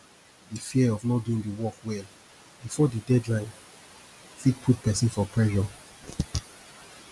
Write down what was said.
the fear of not doing di work well before di deadline fit put person for pressure